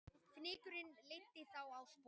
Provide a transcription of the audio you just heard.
Fnykurinn leiddi þá á sporið